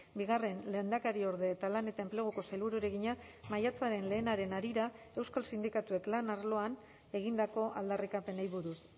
bigarren lehendakariorde eta lan eta enpleguko sailburuari egina maiatzaren lehenaren harira euskal sindikatuek lan arloan egindako aldarrikapenei buruz